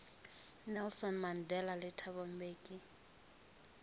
nelson mandela le thabo mbeki